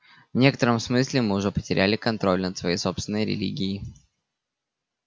в некотором смысле мы уже потеряли контроль над своей собственной религией